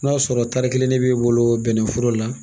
N'a sɔrɔ tari kelen ne b'i bolo bɛnnɛforo la